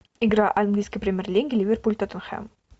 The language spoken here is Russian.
игра английской премьер лиги ливерпуль тоттенхэм